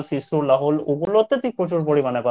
তুই প্রচুর পরিমাণে পাবি